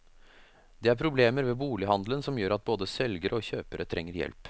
Det er problemer ved bolighandelen som gjør at både selgere og kjøpere trenger hjelp.